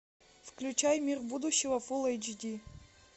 включай мир будущего фул эйч ди